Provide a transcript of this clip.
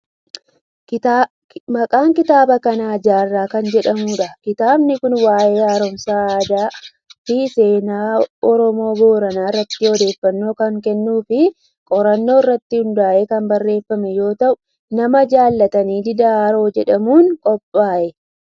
Maqaan kitaaba kanaa Jaarraa kan jedhamuu dha. Kitaabni kun waa'ee haaromsa aadaa fi seenaa Oromoo Booranaa irratti odeeffannoo kan kennuu fi qorannoo irratti hundaa'ee kan barreeffame yoo ta'u, nama Jaalatanii Diida Haroo jedhamuun qophaa'e.